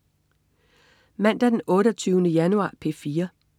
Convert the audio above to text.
Mandag den 28. januar - P4: